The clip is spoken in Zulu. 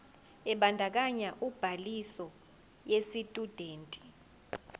ebandakanya ubhaliso yesitshudeni